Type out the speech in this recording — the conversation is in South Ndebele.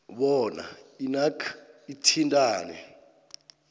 bona inac ithintane